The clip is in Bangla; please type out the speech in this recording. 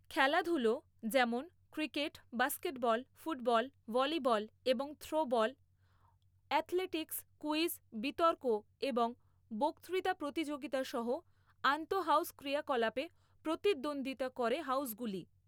খেলাধুলো যেমন ক্রিকেট, বাস্কেটবল, ফুটবল, ভলিবল এবং থ্রোবল, অ্যাথলেটিক্স, কুইজ, বিতর্ক এবং বক্তৃতা প্রতিযোগিতা সহ আন্তঃহাউজ ক্রিয়াকলাপে প্রতিদ্বন্দ্বিতা করে হাউজগুলি।